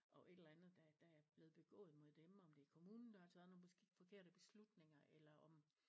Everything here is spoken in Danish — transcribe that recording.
Over et eller andet der der er blevet begået mod dem om det er kommunen der har taget nogle beskidt forkerte beslutninger eller om